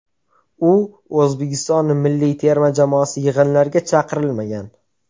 U O‘zbekiston milliy terma jamoasi yig‘inlariga chaqirilmagan.